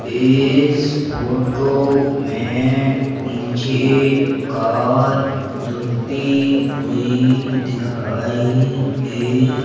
इस फोटो में मुझे कार धुलती हुई दिखाई दे--